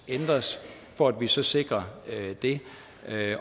ændres for at vi så sikrer det